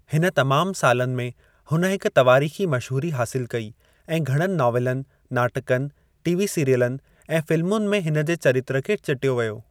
हिन तमाम सालनि में हुन हिक तवारीखी मशहूरी हासिल कई ऐं घणनि नावलनि, नाटकनि, टीवी सीरियलनि, ऐं फिल्‍मुनि में हिन जे चरित्र खे चिटियो वियो।